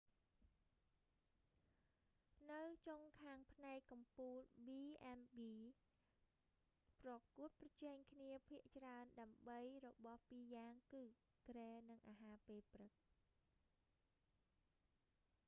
នៅចុងខាងផ្នែកកំពូល b&bs ប្រកួតប្រជែងគ្នាភាគច្រើនដើម្បីរបស់ពីរយ៉ាងគឺ គ្រែនិងអាហារពេលព្រឹក។